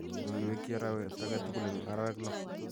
Ak iweekyi arawet age tugul eng' arawek lo.